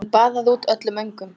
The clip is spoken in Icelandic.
Hún baðaði út öllum öngum.